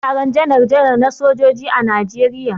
Za a yi taron janar janar na soja a Najeriya.